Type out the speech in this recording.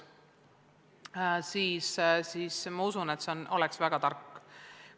Ma usun, et selle reguleerimine oleks väga tark otsus.